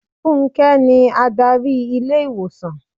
Fúnké ni Ádárì ilé ìwòsàn.